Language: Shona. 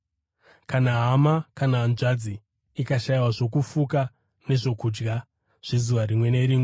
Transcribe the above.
Kana hama kana hanzvadzi ikashayiwa zvokufuka nezvokudya zvezuva rimwe nerimwe,